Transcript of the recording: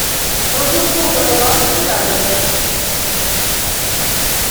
продуктовая лавка рядом